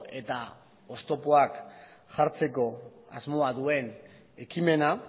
eta oztopoak jartzeko asmoa duen ekimena